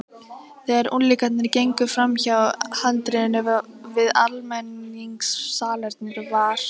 Þegar unglingarnir gengu framhjá handriðinu við almenningssalernið var